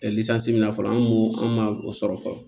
min na fɔlɔ an kun an ma o sɔrɔ fɔlɔ